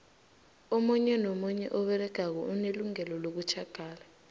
omunye nomunye umuntu oberegako unelungelo lokutjhagala